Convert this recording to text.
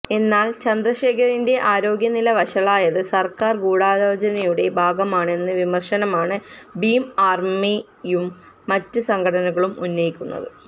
എന്നാല് ചന്ദ്രശേഖറിന്റെ ആരോഗ്യനില വഷളായത് സര്ക്കാര് ഗൂഢാലോചനയുടെ ഭാഗമാണെന്ന വിമര്ശനമാണ് ഭീം ആര്മിയും മറ്റ് സംഘടനകളും ഉന്നയിക്കുന്നത്